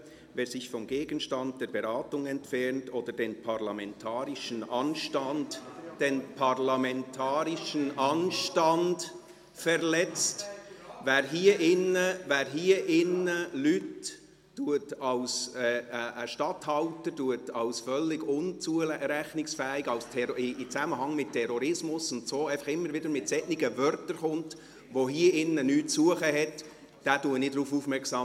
«Wer sich vom Gegenstand der Beratung entfernt oder den parlamentarischen Anstand – den parlamentarischen Anstand – verletzt [...]», wer hier drin einen Statthalter als völlig unzurechnungsfähig darstellt und einen Zusammenhang mit Terrorismus herstellt und immer wieder solche Worte verwendet, die hier drin nichts zu suchen haben, den mache ich darauf aufmerksam.